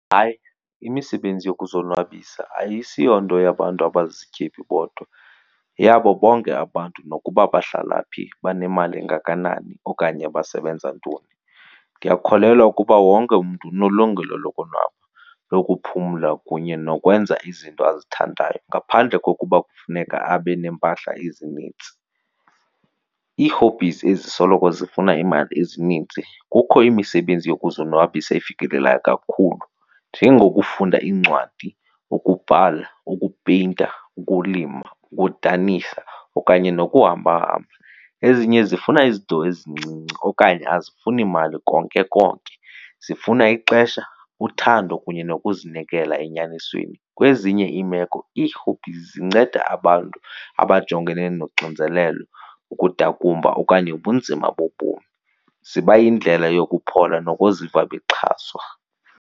Hayi, imisebenzi yokuzonwabisa ayisiyonto yabantu abazizityebi bodwa yeyabo bonke abantu nokuba bahlala phi banemali engakanani okanye basebenza ntoni. Ndiyakholelwa ukuba wonke umntu unelungelo lokonwaba, lokuphumla kunye nokwenza izinto azithandayo ngaphandle kokuba kufuneka abe neempahla ezinintsi. Ii-hobbies ezisoloko zifuna imali ezininzi kukho imisebenzi yokuzonwabisa ifikelelayo kakhulu njengokufunda iincwadi, ukubhala, ukupeyinta, ukulima, ukudanisa okanye nokuhambahamba. Ezinye zifuna izinto ezincinci okanye azifuni mali konke konke, zifuna ixesha, uthando kunye nokuzinikela enyanisweni. Kwezinye iimeko ii-hobbies zinceda abantu abajongene noxinzelelo, ukudakumba okanye ubunzima bobomi, ziba yindlela yokuphola nokuziva bexhaswa.